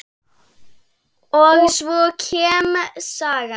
Og svo kemur saga: